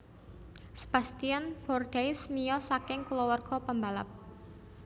Sebastien Bourdais miyos saking kulawarga pembalap